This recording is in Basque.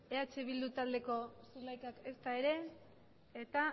eh bildu taldeko zulaikak ezta ere eta